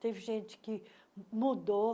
Teve gente que mudou.